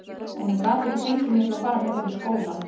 En ég gat ekki fengið mig til að fara í þeim í skólann.